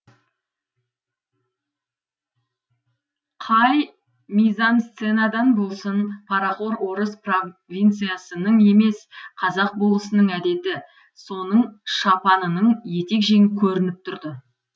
қай мизансценадан болсын парақор орыс провинциясының емес қазақ болысының әдеті соның шапанының етек жеңі көрініп тұрды